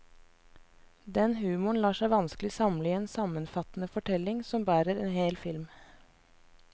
Den humoren lar seg vanskelig samle i en sammenfattende fortelling som bærer en hel film.